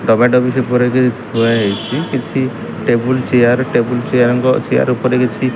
ଡବା-ଡବିରେ ପୁରେଇକି ଥୁଆ ହେଇଚି। କିଛି ଟେବୁଲ ଚେୟାର ଟେବୁଲ ଚେୟାର ଙ୍କ ଚେୟାର ଉପରେ କିଛି --